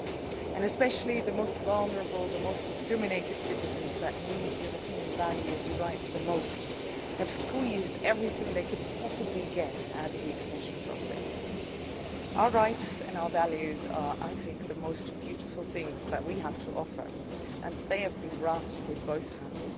In particular, the most vulnerable, the most discriminated citizens who need European values and rights the most have squeezed everything they could possibly get out of the accession process. Our rights and our values are, I think, the most beautiful things that we have to offer and they have been grasped with both hands.